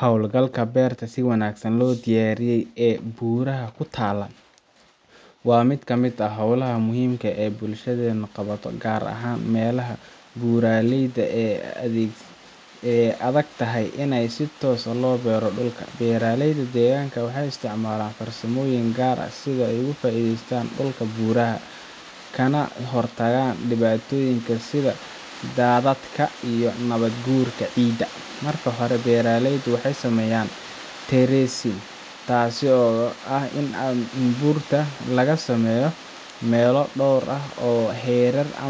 Hawlgalka beerta si wanaagsan loo diyaariyey ee buuraha ku taalla waa mid ka mid ah hawlaha muhiimka ah ee bulshadeennu qabato, gaar ahaan meelaha buuraleyda ah ee ay adagtahay in si toos ah loo beero dhulka. Beeraleyda deegaanka waxay isticmaalaan farsamooyin gaar ah si ay uga faa’iidaystaan dhulka buuraha ah, kana hortagaan dhibaatooyinka sida daadadka iyo nabaad-guurka ciidda. Marka hore, beeraleyda waxay sameeyaan terracing, taas oo ah in buurta laga sameeyo meelo dhowr ah oo heerar ah